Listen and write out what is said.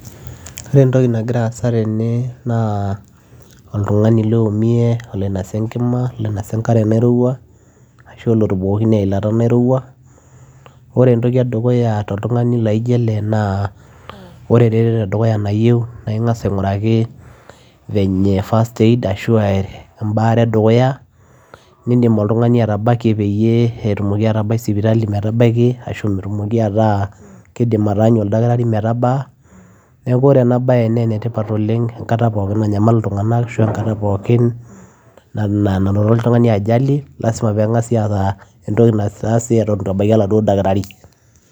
Ore entoki nagira asa tene naa oltugani loumie oloinosa enkima, oloinosa enkare nairowua ashuu olotubukokine eilata nairowua ore entoki edukuya toltungani laijio ele naa ore eretoto edukuya nayieu naa igas aiguraki venye first aid ashua embaare edukuya nidim oltugani atabakie pee etumoki atabaiki sipitali metabaki ashuu pee etumoki ataa keidim ataanyu oldaktari metabaa .neeku ore ena bae naa enetipat oleng enkata pooki namyamal oltunganak ashuu enkata pooki nanoto oltungani ajali lazima pegasi aata entoki naitaasi Eton eitu ebaiki oladuo daktari